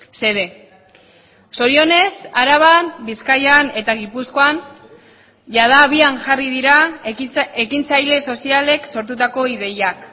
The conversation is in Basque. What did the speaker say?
xede zorionez araban bizkaian eta gipuzkoan jada abian jarri dira ekintzaile sozialek sortutako ideiak